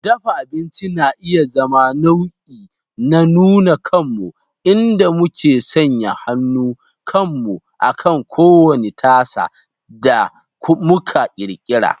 Dafa abinci na iya zama nau'i na nuna kanmu, inda muke sanya hannun kanmu akan kowane tasa da muka ƙirƙira.